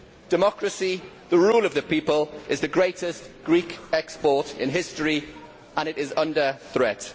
Democracy, the rule of the people, is the greatest Greek export in history and it is under threat.